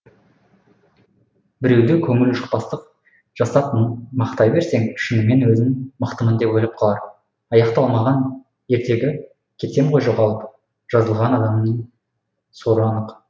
біреуді көңілжықпастық жасап мақтай берсең шынымен өзін мықтымын деп ойлап қалар аяқталмаған ертегі кетсем ғой жоғалып жазылған адаммын соры анық